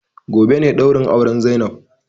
Gobe ne ɗaurin auren zainab